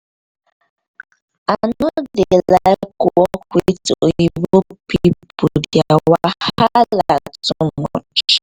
i no dey like work with oyinbo people dia wahala too much